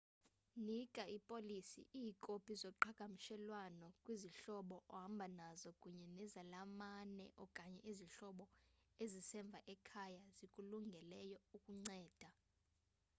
nika ipolisi/iikopi zoqhagamshelwano kwizihlobo ohamba nazo kunye nezalamane okanye izihlobo ezisemva ekhaya ezikulungeleyo ukunceda